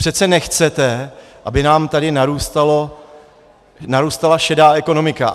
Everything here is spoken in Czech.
Přece nechcete, aby nám tady narůstala šedá ekonomika.